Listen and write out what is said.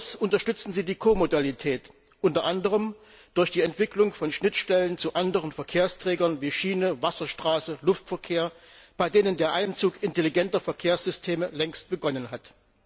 Darüber hinaus unterstützen sie die Ko Modalität, unter anderem durch die Entwicklung von Schnittstellen zu anderen Verkehrsträgern wie Schiene, Wasserstraße, Luftverkehr, bei denen der Einzug intelligenter Verkehrssysteme längst begonnen hat.